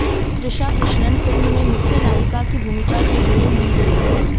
Trisha Krishnan film में मुख्य नायिका की भूमिका के लिए ली गई हैं